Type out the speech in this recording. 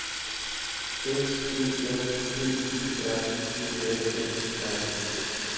S Ø N D E R G A A R D